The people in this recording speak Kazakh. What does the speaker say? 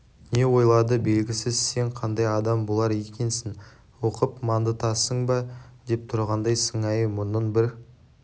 не ойлады белгісіз сен қандай адам болар екенсің оқып мандытасың ба деп тұрғандай сыңайы мұрнын бір